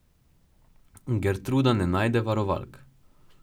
Gertruda ne najde varovalk.